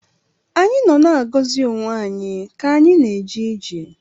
Anyị nọ na-agọzi onwe anyị ka anyị na-eje ije